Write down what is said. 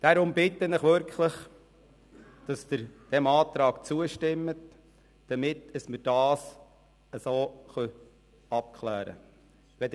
Darum bitte ich Sie wirklich, diesem Antrag zuzustimmen, damit wir es richtig abklären können.